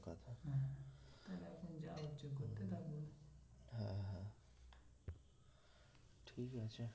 ঠিক আছে